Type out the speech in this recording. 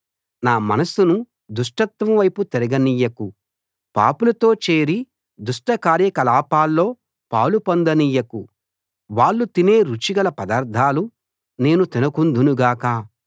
నా మనసును దుష్టత్వం వైపు తిరగనియ్యకు పాపులతో చేరి దుష్ట కార్యకలాపాల్లో పాలు పొందనీయకు వాళ్ళు తినే రుచి గల పదార్థాలు నేను తినకుందును గాక